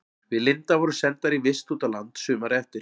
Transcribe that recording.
Við Linda vorum sendar í vist út á land sumarið eftir.